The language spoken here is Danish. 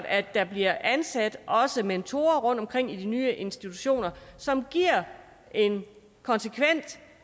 at der bliver ansat mentorer rundtomkring i de nye institutioner som giver en konsekvent